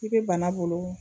I be bana bolo